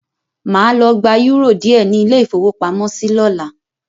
Mà á lọ gba eúrò díẹ̀ ní ilé-ìfowópamọ́sí lọ́la.